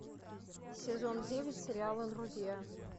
сезон девять сериала друзья